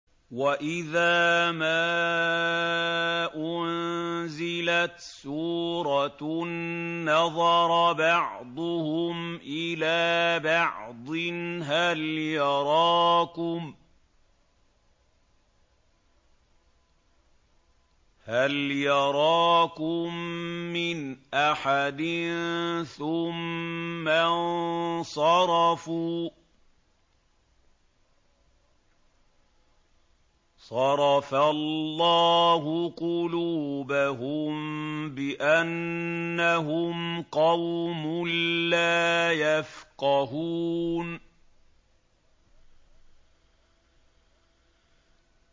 وَإِذَا مَا أُنزِلَتْ سُورَةٌ نَّظَرَ بَعْضُهُمْ إِلَىٰ بَعْضٍ هَلْ يَرَاكُم مِّنْ أَحَدٍ ثُمَّ انصَرَفُوا ۚ صَرَفَ اللَّهُ قُلُوبَهُم بِأَنَّهُمْ قَوْمٌ لَّا يَفْقَهُونَ